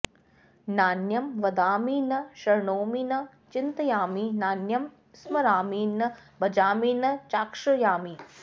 नान्यं वदामि न शृणोमि न चिन्तयामि नान्यं स्मरामि न भजामि न चाश्रयामि